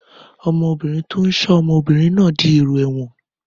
Ọmọkùnrin tó ń ṣọ́ obìnrin náà dièrò ẹ̀wọ̀n.